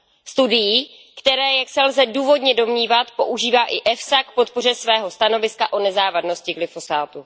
Studií, které jak se lze důvodně domnívat, používá i EFSA k podpoře svého stanoviska o nezávadnosti glyfosátu.